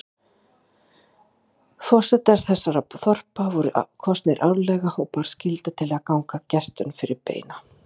Forsetar þessara þorpa voru kosnir árlega og bar skylda til að ganga gestum fyrir beina.